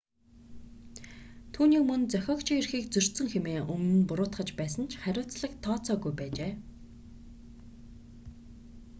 түүнийг мөн зохиогчийн эрхийг зөрчсөн хэмээн өмнө нь буруутгаж байсан ч хариуцлага тооцоогүй байжээ